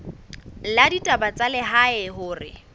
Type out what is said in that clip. la ditaba tsa lehae hore